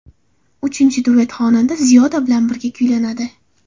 Uchinchi duet xonanda Ziyoda bilan birga kuylanadi.